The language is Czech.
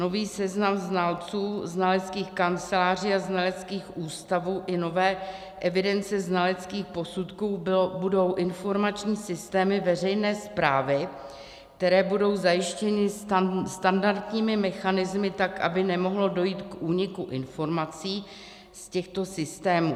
Nový seznam znalců, znaleckých kanceláří a znaleckých ústavů i nové evidence znaleckých posudků budou informační systémy veřejné správy, které budou zajištěny standardními mechanismy tak, aby nemohlo dojít k úniku informací z těchto systémů.